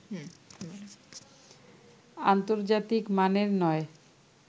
আন্তর্জাতিক মানের নয়